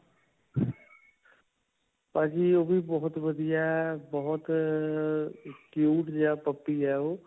ਭਾਜੀ, ਉਹ ਵੀ ਬਹੁਤ ਵਧੀਆ ਹੈ, ਬਹੁਤ ਅਅ cute ਜਿਹਾ puppy ਹੈ ਉਹ.